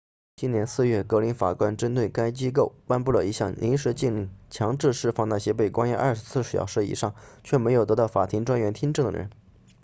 今年4月格林法官针对该机构颁布了一项临时禁令强制释放那些被关押24小时以上却没有得到法庭专员听证的人